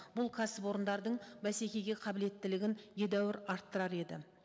бұл кәсіпорындардың бәсекеге қабілеттілігін едәуір арттырар еді